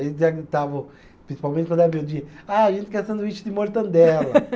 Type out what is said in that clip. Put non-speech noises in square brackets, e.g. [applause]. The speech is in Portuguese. Eles já gritavam, principalmente quando era meu dia, ah, a gente quer sanduíche de mortandela. [laughs]